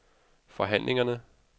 forhandlingerne